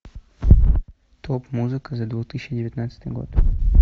топ музыка за две тысячи девятнадцатый год